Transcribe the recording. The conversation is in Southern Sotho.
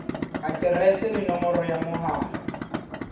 aterese le nomoro ya mohala